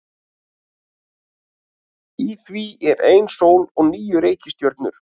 Í því er ein sól og níu reikistjörnur.